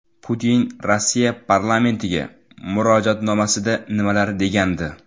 Putin Rossiya parlamentiga murojaatnomasida nimalar degandi?